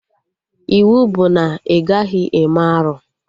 Iwu bụ na ị gaghị eme arụ!